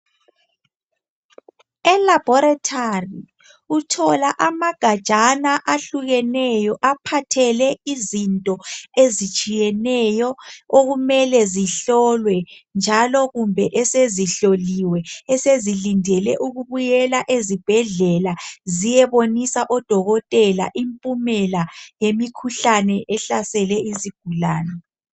Elaboratory amagajana ahlukeneyo aphathe izinto ezitshiyeneyo okumele zihlolwe njalo kumbe esezihloliwe esezilindele ukuya ezibhendlela ziyebonisa odokotela impumela yemikhuhlane ehlasele izigulane.